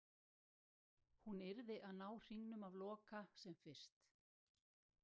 Hún yrði að ná hringnum af Loka sem fyrst.